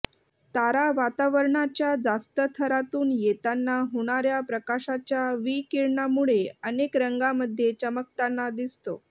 तारा वातावरणाच्या जास्त थरातून येताना होणाऱ्या प्रकाशाच्या विकिरणामुळे अनेक रंगांमध्ये चमकताना दिसतो